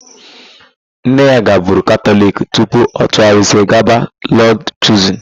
Nne ya gaburu Katọliki tupu ọ tụgharịzie gaba Lọd Chuzin.